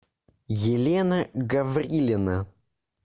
елена гаврилина